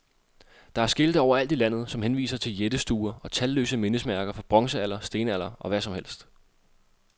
Der er skilte overalt i landet, som henviser til jættestuer og talløse mindesmærker for bronzealder, stenalder og hvad som helst.